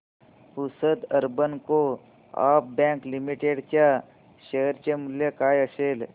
Pusad urban co-op bank limited च्या share चे मूल्य काय असेल